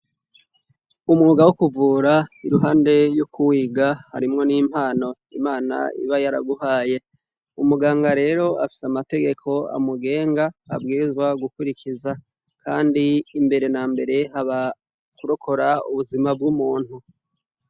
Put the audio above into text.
Umwuga wokuvura iruhande yokuwiga harimwo nimpano nimana iba yaraguhaye umuganga rero afise amategeko amugenga abwirizwa gukurikiza kandi mbere nambere abarokora ubuzima bwumuntu